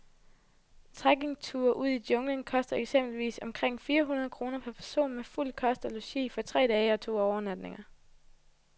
Trekkingture ud i junglen koster eksempelvis omkring fire hundrede kroner per person med fuld kost og logi for tre dage og to overnatninger.